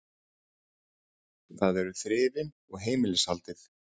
Það eru þrifin og heimilishaldið.